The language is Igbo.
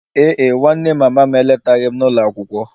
Ee e, nwanne mama m eletaghị m n'ụlọ akwụkwọ